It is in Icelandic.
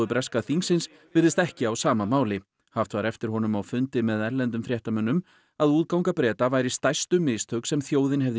breska þingsins virðist ekki á sama máli haft var eftir honum á fundi með erlendum fréttamönnum að útganga Breta væri stærstu mistök sem þjóðin hefði